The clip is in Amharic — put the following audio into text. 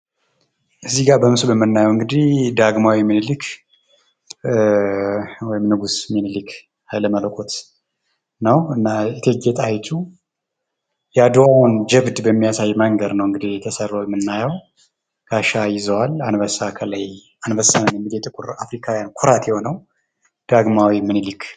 እዚጋ በምስሉ ላይ የምናየው እንግዲህ ዳግማዊ ምኒሊክ ወይም ንጉስ ሚኒልክ ሀይለመለኮት ነው ። እና እቴጌ ጣይቱ የአድዋን ጅብድ በሚያሳይ መንገድ ነው እንግዲህ ተሰርቶ የምናየው ጋሻ ይዘዋል ፣ አንበሳ ከላይ አንበሳ የጥቁር አፍሪካውያን ኩራት የሆነው ዳግማዊ ምኒሊክ